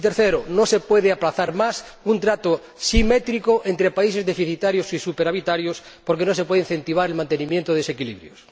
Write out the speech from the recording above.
y, tercero, no se puede aplazar más un trato simétrico entre países deficitarios y superavitarios, porque no se puede incentivar el mantenimiento de desequilibrios.